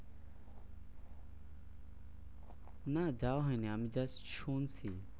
না যাওয়া হয়নি আমি আজ শুনছি।